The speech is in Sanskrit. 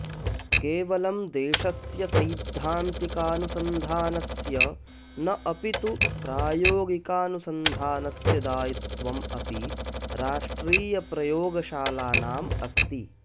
केवलं देशस्य सैद्धान्तिकानुसन्धानस्य न अपि तु प्रायोगिकानुसन्धानस्य दायित्वम् अपि राष्ट्रियप्रयोगशालानाम् अस्ति